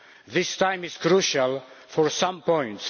This time is crucial for some points.